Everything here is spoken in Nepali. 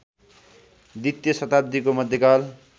द्वितीय शताब्दीको मध्यकाल